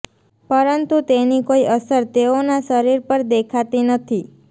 પરંતુ તેની કોઈ અસર તેઓના શરીર પર દેખાતી નથી